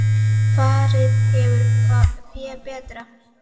Farið hefur fé betra.